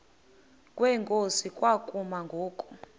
kwenkosi kwakumi ngoku